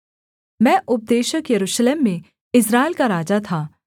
मैं उपदेशक यरूशलेम में इस्राएल का राजा था